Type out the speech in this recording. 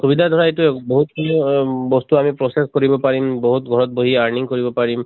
সুবিধা ধৰা এইটোয়ে বহুত বস্তু আমি process কৰিব পাৰিম। বহুত ঘৰত বহি earning কৰিব পাৰিম।